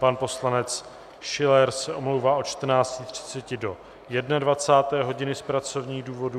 Pan poslanec Schiller se omlouvá od 14.30 do 21. hodiny z pracovních důvodů.